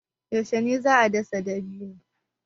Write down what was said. Yaushe ne za a dasa dabino?